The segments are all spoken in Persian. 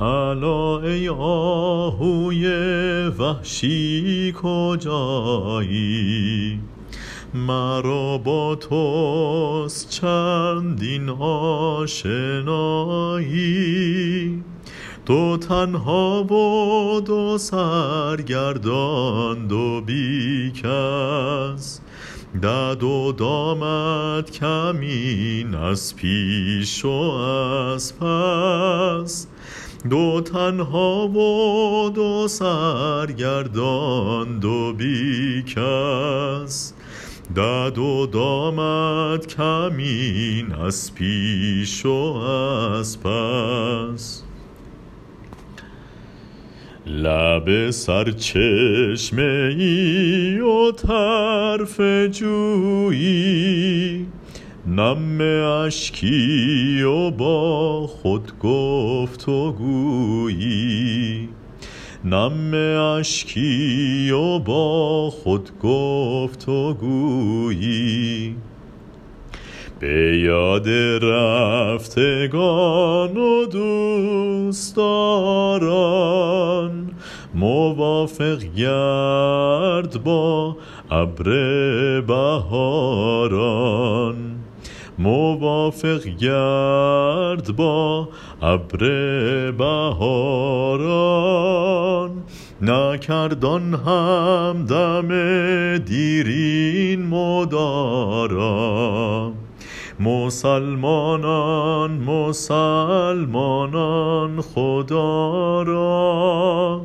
الا ای آهوی وحشی کجایی مرا با توست چندین آشنایی دو تنها و دو سرگردان دو بی کس دد و دامت کمین از پیش و از پس بیا تا حال یک دیگر بدانیم مراد هم بجوییم ار توانیم که می بینم که این دشت مشوش چراگاهی ندارد خرم و خوش که خواهد شد بگویید ای رفیقان رفیق بی کسان یار غریبان مگر خضر مبارک پی درآید ز یمن همتش کاری گشاید مگر وقت وفا پروردن آمد که فالم لا تذرنی فردا آمد چنینم هست یاد از پیر دانا فراموشم نشد هرگز همانا که روزی ره روی در سرزمینی به لطفش گفت رندی ره نشینی که ای سالک چه در انبانه داری بیا دامی بنه گر دانه داری جوابش داد گفتا دام دارم ولی سیمرغ می باید شکارم بگفتا چون به دست آری نشانش که از ما بی نشان است آشیانش چو آن سرو روان شد کاروانی چو شاخ سرو می کن دیده بانی مده جام می و پای گل از دست ولی غافل مباش از دهر سرمست لب سرچشمه ای و طرف جویی نم اشکی و با خود گفت و گویی نیاز من چه وزن آرد بدین ساز که خورشید غنی شد کیسه پرداز به یاد رفتگان و دوست داران موافق گرد با ابر بهاران چنان بی رحم زد تیغ جدایی که گویی خود نبوده است آشنایی چو نالان آمدت آب روان پیش مدد بخشش از آب دیده خویش نکرد آن هم دم دیرین مدارا مسلمانان مسلمانان خدا را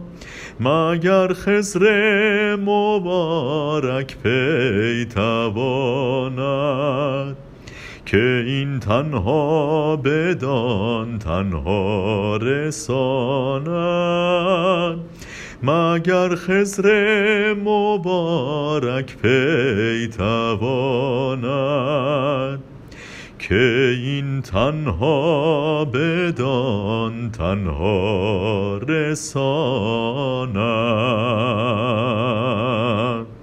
مگر خضر مبارک پی تواند که این تنها بدان تنها رساند تو گوهر بین و از خرمهره بگذر ز طرزی کآن نگردد شهره بگذر چو من ماهی کلک آرم به تحریر تو از نون والقلم می پرس تفسیر روان را با خرد درهم سرشتم وز آن تخمی که حاصل بود کشتم فرح بخشی درین ترکیب پیداست که نغز شعر و مغز جان اجزاست بیا وز نکهت این طیب امید مشام جان معطر ساز جاوید که این نافه ز چین جیب حور است نه آن آهو که از مردم نفور است رفیقان قدر یک دیگر بدانید چو معلوم است شرح از بر مخوانید مقالات نصیحت گو همین است که سنگ انداز هجران در کمین است